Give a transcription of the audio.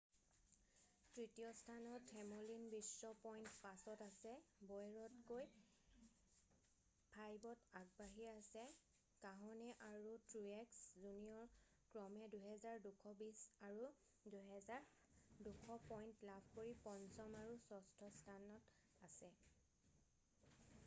তৃতীয় স্থানত হেমলিন বিশ পইণ্ট পাছত আছে বৌয়েৰতকৈ 5ত আগবাঢ়ি আছে কাহনে আৰু ট্ৰুয়েক্স জুনিয়ৰ ক্ৰমে 2,220 আৰু 2,207 পইণ্ট লাভ কৰি পঞ্চম আৰু ষষ্ঠ স্থানত আছে